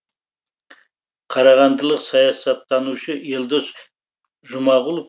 қарағандылық саясаттанушы елдос жұмағұлов